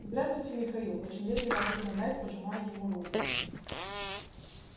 здравствуйте михаил очень вежливо ответил найд пожимая ему руку